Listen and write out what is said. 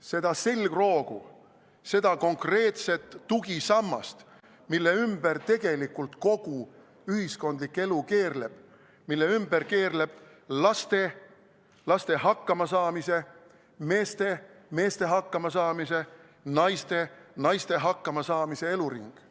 seda selgroogu, seda konkreetset tugisammast, mille ümber tegelikult kogu ühiskondlik elu keerleb, mille ümber keerleb laste ja laste hakkamasaamise, meeste ja meeste hakkamasaamise, naiste ja naiste hakkamasaamise eluring.